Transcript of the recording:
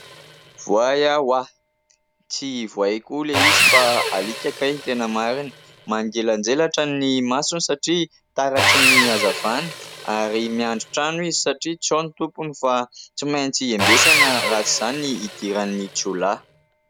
Voay aho ho aho ! Tsy voay koa ilay izy fa alika kay no tena marina. Manjelanjelatra ny masony satria taratry ny hazavana ary miandry trano izy satria tsy ao ny tompony fa tsy maintsy ambesana raha tsy izany hidiran'ny jiolahy.